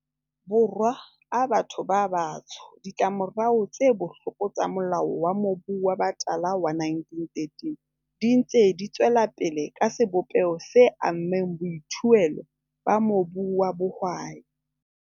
Borwa a batho ba batsho, ditlamorao tse bohloko tsa Molao wa Mobu wa Batala wa 1913 di ntse di tswelapele ka sebopeho se ammeng boithuelo ba mobu wa bohwai.